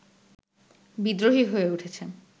বিদ্রোহী হয়ে উঠেছে